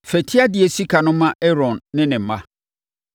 Fa tiadeɛ sika no ma Aaron ne ne mma.”